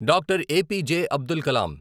Doctor A P J. Abdul Kalam